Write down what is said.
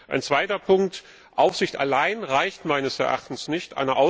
Ein zweiter Punkt Aufsicht allein reicht meines Erachtens nicht.